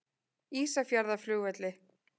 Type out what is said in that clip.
Ísafjarðarflugvelli